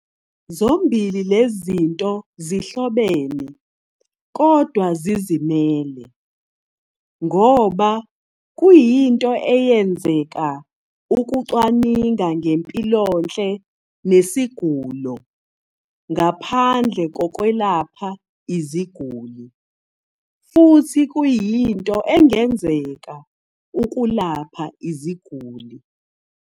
Zombili lezinto zihlobene, kodwa zizimele, ngoba kuyinto engenzeka ukucwaninga ngempilonhle nesigulo ngaphandle kokwelapha iziguli, futhi kuyinto engenzeka ukulapha iziguli